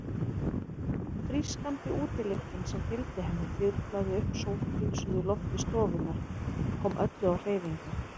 Frískandi útilyktin sem fylgdi henni þyrlaði upp sótthreinsuðu lofti stofunnar, kom öllu á hreyfingu.